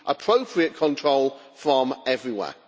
We need appropriate control from everywhere.